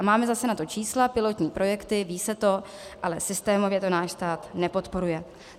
A máme na to zase čísla, pilotní projekty, ví se to, ale systémově to náš stát nepodporuje.